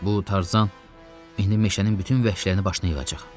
Bu Tarzan indi meşənin bütün vəhşilərini başına yığacaq.